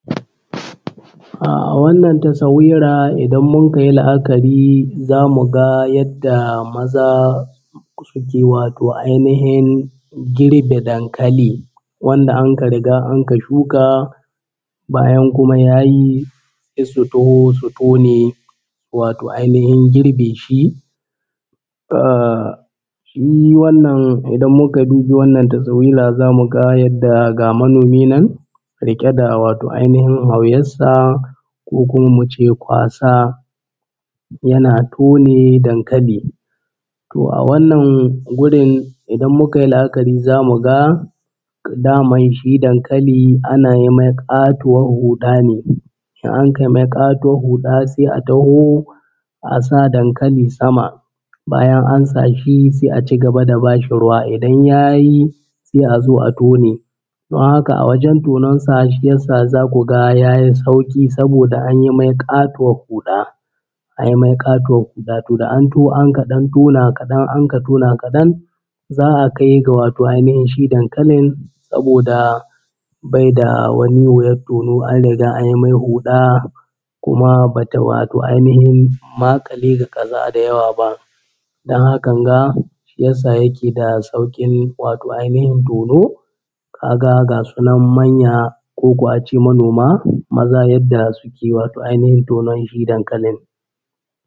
A wannan tasawira idan mun ka yi la’akari za mu ga yadda maza suke wato ainihin girbe dankali wanda anka riga anka shuka. Bayan kuma ya yi sai su taho su tone wato ainihin girbe shi ahh shi wannan idan mun ka dubi wannan tasawira za mu yadda ga manomi nan riƙe da wato ainihin hauyar sa ko kuma mu ce kwasa yana tone dankali. Toh a wannan gurin idan muka yi la’akari za mu ga daman shi dankali ana yi mai ƙatuwar huɗa ne, in anka yi mai ƙatuwar huɗa sai a taho a sa dankali sama bayan an sa shi sai a cigaba da bashi ruwa, idan ya yi sai a zo a tone, don haka a wajen tonen sa shi yassa za ku ga ya yi sauƙi saboda an yi mai ƙatuwar huɗa, an yi mai ƙatuwar huɗa toh da an taho anka ɗan tona kaɗan an ka tona kaɗan za a kai ga wato ainihin shi dankalin saboda bai da wani wuyar tono an riga an yi mai huɗa kuma bata wato ainihin maƙale ga ƙasa da yawa ba don hakan ga shi yasa yake da sauƙin wato ainihin tono, ka ga gasu nan manya koko a ce manoma maza yadda suke wato ainihin shi dankalin.